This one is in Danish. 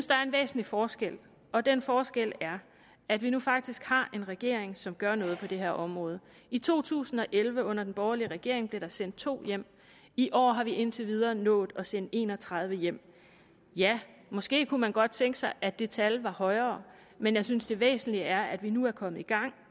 der er en væsentlig forskel og den forskel er at vi nu faktisk har en regering som gør noget på det her område i to tusind og elleve under den borgerlige regering blev der sendt to hjem i år har vi indtil videre nået at sende en og tredive hjem ja måske kunne man godt tænke sig at det tal var højere men jeg synes det væsentlige er at vi nu er kommet i gang